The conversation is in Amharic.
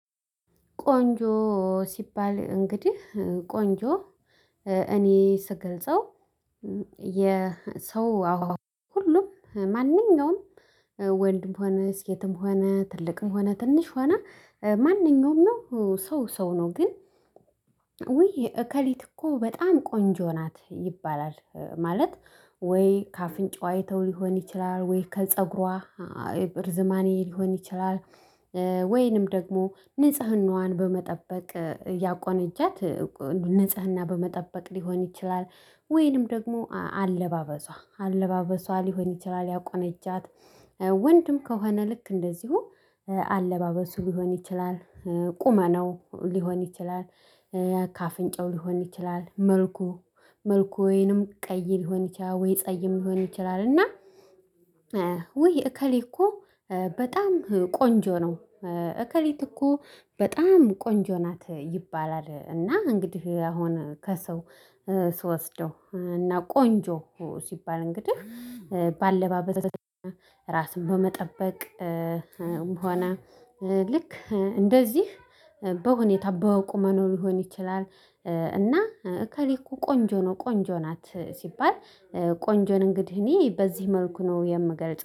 ቆንጆ ሲባል እንግዲህ ቆንጆ እኔ ስገልጸው የሰው ሁሉም ማንኛውም ወንድም ሆነ ሴትም ሆነ ትልቅም ሆነ ትንሽ ሆነ ማንኛውም ነው ሰው ሰው ነው ግን ውይ እከሊት እኮ በጣም ቆንጆ ናት ይባላል ማለት ወይ ከአፍንጫው አይተው ሊሆን ይችላል? ወይ ከፀጉሯ እርዝማኔ ሊሆን ይችላል። ወይንም ደግሞ ንጽህናዋን በመጠበቅ ያቆነጃት ንጽህና በመጠበቅ ሊሆን ይችላል። ወይንም ደግሞ አለባበሷ አለባበሷ ሊሆን ይችላል ያቆነጃት። ወንድም ከሆነ ልክ እንደዚሁ አለባበሱ ሊሆን ይችላል። ቁመናው ሊሆን ይችላል። ከአፍንጫው ሊሆን ይችላል መልኩ መልኩ ወይንም ቀይ ሊሆን ይችላል ወይ ጸይም ሊሆን ይችላል እና። ወይ እከሌ እኮ በጣም ቆንጆ ነው እከሌት እኮ በጣም ቆንጆ ናት ይባላል። እና እንግዲህ አሁን ከሰው ስወስደው እና ቆንጆ ሲባል እንግዲህ በአለባበስ ራስን በመጠበቅ ሆነ ልክ እንደዚህ በሁኔታ በቁመኑ ሊሆን ይችላል። እና እከሌ እኮ ቆንጆ ነው ቆንጆ ናት ሲባል ቆንጆን እንግዲህ እኔ በዚህ መልኩ ነው የምገልጸው